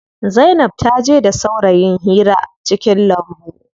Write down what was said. Zainab taje da saurayin hira cikin lambu.